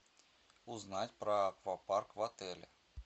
узнать про аквапарк в отеле